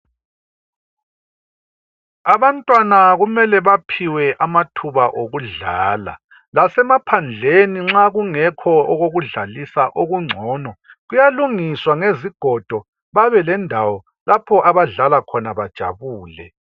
Abantwana kumele baphiwe amathuba okudlala lasemaphandleni nxa okungekho okokudlalisa okungcono kuyalungiswa ngezigodo babelendawo lapho abadlala khona bajabule